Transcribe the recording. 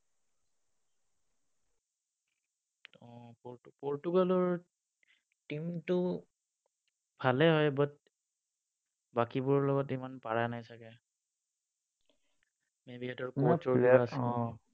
পৰ্তুগালৰ team টো ভালেই হয় but বাকীবোৰৰ লগত ইমান পাৰা নাই চাগে।